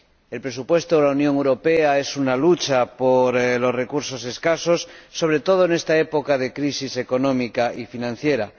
El presupuesto de la Unión Europea es una lucha por los recursos escasos, sobre todo en esta época de crisis económica y financiera.